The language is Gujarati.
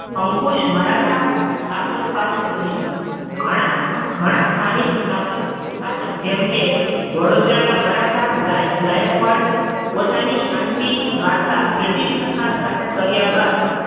અંકુશ મરાઠા શાસક પાસે રહ્યું. ઘણા ઘણા સ્થાનિક સ્નાતક સ્નાતક જેમ કે વડોદરા ના મરાઠા ગાયક ગાયકવાડ પોતાની શાંતિ વાર્તા બ્રિટિશ સરકાર સાથે કર્યા. બાદ